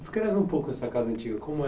Descreve um pouco essa casa antiga, como